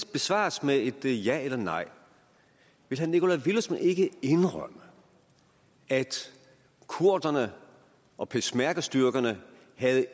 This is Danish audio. besvares med et ja eller nej vil herre nikolaj villumsen ikke indrømme at kurderne og peshmergastyrkerne